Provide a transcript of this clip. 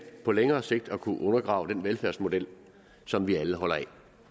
på længere sigt at kunne undergrave den velfærdsmodel som vi alle holder af